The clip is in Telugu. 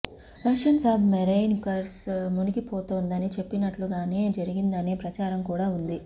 రష్యన్ సబ్ మెరైన్ కుర్స్క్ మునిగిపోతుందని చెప్పినట్టుగానే జరిగిందనే ప్రచారం కూడా ఉంది